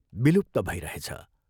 विलुप्त भइरहेछ।